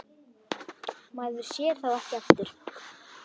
Maður sér þá ekki aftur.